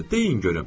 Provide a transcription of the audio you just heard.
Deyin görüm.